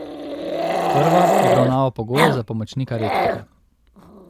Prva obravnava pogoje za pomočnika rektorja.